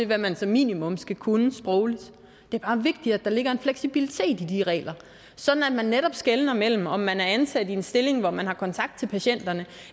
hvad man som minimum skal kunne sprogligt det er bare vigtigt at der ligger en fleksibilitet i de regler sådan at der netop skelnes mellem om man er ansat i en stilling hvor man har kontakt til patienterne